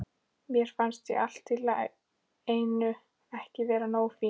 Mér fannst ég allt í einu ekki vera nógu fín.